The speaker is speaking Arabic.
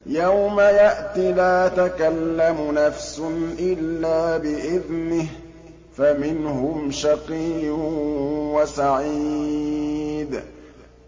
يَوْمَ يَأْتِ لَا تَكَلَّمُ نَفْسٌ إِلَّا بِإِذْنِهِ ۚ فَمِنْهُمْ شَقِيٌّ وَسَعِيدٌ